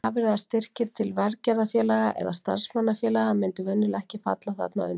Gjafir eða styrkir til velgerðarfélaga eða starfsmannafélaga myndu venjulega ekki falla þarna undir.